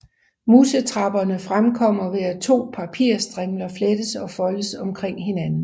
Musetrapperne fremkommer ved at to papirstrimler flettes og foldes omkring hinanden